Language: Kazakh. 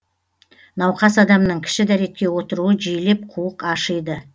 науқас адамның кіші дәретке отыруы жиілеп қуық ашиды